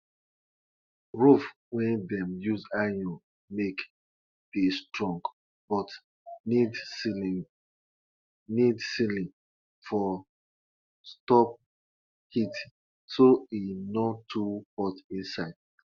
before them start to to dey build house na animal them go use take do sacrifice to honour the land and our forefathers.